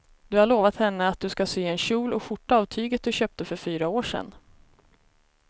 Du har lovat henne att du ska sy en kjol och skjorta av tyget du köpte för fyra år sedan.